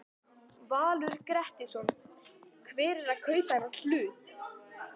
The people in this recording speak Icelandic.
Valur Grettisson: Hver er að kaupa þennan hlut?